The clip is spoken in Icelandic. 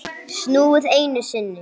Snúið einu sinni.